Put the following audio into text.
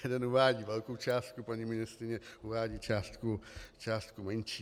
Jeden uvádí velkou částku, paní ministryně uvádí částku menší.